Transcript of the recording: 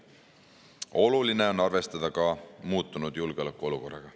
Oluline on arvestada ka muutunud julgeolekuolukorraga.